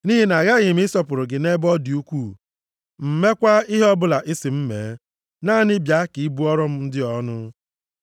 Nʼihi na aghaghị ịsọpụrụ gị nʼebe ọ dị ukwuu m, + 22:17 Nke a bụ ịkwụ ya ụgwọ dị mma mekwaa ihe ọbụla ị sị m mee. Naanị bịa ka ị bụọrọ m ndị a ọnụ.”